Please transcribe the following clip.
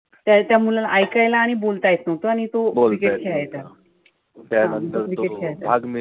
त त्या मुलाला ऐकायला आणि बोलता येत नव्हतं. आणि तो cricket खेळायचा. हा cricket खेळायचा.